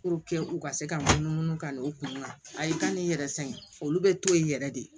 u ka se ka numu munnu ka n'u kunna a ye ka n'i yɛrɛ san olu bɛ to yen yɛrɛ de